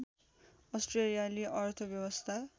अस्ट्रेलियाली अर्थव्यवस्था